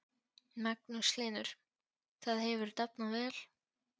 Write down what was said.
Magnús Hlynur: Það hefur dafnað vel?